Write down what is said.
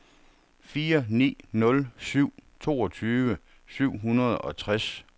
fire ni nul syv toogtyve syv hundrede og tres